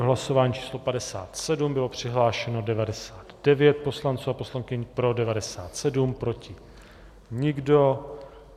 V hlasování číslo 57 bylo přihlášeno 99 poslanců a poslankyň, pro 97, proti nikdo.